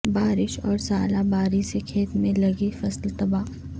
بارش اور ژالہ باری سے کھیت میں لگی فصل تباہ